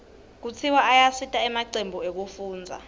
kutiswa ayasita emacembu ekufundza